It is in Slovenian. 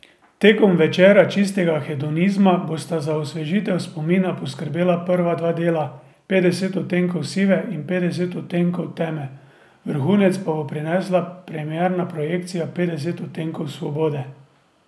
Tekom večera čistega hedonizma bosta za osvežitev spomina poskrbela prva dva dela, Petdeset odtenkov sive in Petdeset odtenkov teme, vrhunec pa bo prinesla premierna projekcija Petdesetih odtenkov svobode.